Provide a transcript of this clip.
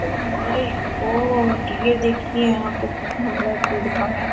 O my god ये देखिए यहाँ पे कितना बड़ा भीड़-भाड़ है।